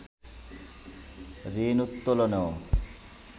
ঋণ উত্তোলনও